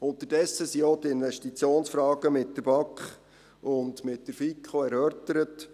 Unterdessen wurden auch die Investitionsfragen mit der BAK und mit der FiKo erörtert.